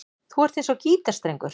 Þú ert eins og gítarstrengur.